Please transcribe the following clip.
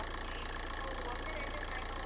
okay இப்போ ஒண்ணு ரெண்டு connect